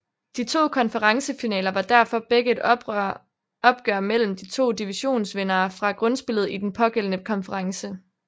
De to konferencefinaler var derfor begge et opgør mellem de to divisionsvindere fra grundspillet i den pågældende konference